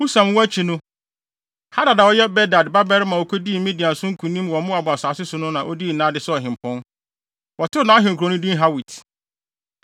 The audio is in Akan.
Husam wu akyi no, Hadad a ɔyɛ Bedad babarima a okodii Midian so nkonim wɔ Moab asase so no na odii nʼade sɛ ɔhempɔn. Wɔtoo nʼahenkurow no din Hawit.